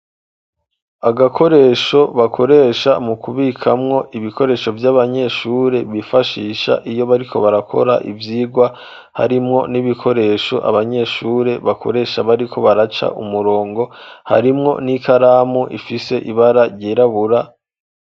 Agakoresho bakoresha mu kubikamwo ibikoresho vy'abanyeshuri bifashisha iyo bariko barakora ivyigwa, harimwo n'ibikoresho abanyeshuri bakoresha bariko baraca umurongo, harimwo n'ikaramu ifise ibara ryirabura.